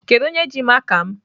Kedụ onye ji maka m?